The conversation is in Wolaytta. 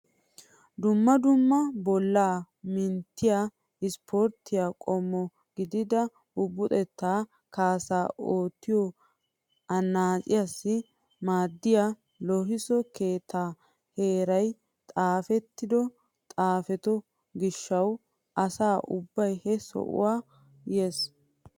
Dumma dumma bollaa mintettiyaa isporttiyaa qommo gidida bubuxettaa kaassaa oottiyoo annaciyaassi maaddiyaa loohisso keettaa erissiyaa xifatee xafetto gishshawu asa ubbay he sohuwaa yes!